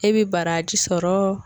E bɛ baraji sɔrɔɔ